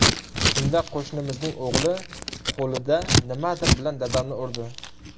Shunda qo‘shnimizning o‘g‘li qo‘lida nimadir bilan dadamni urdi.